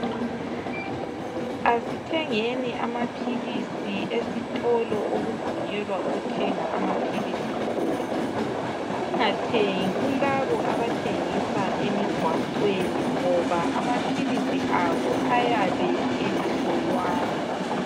Asithengeni amaphilisi esitolo okuvunyelwa ukuthenga amaphilisi khona. Singathengi kulabo abathengisa emigwaqweni ngoba amaphilisi abo ayabe engahlolwanga.